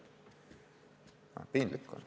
Piinlik on.